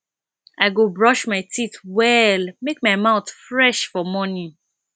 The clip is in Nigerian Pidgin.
i go brush my teeth well make my mouth fresh for morning